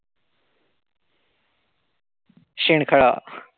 शेणखळ.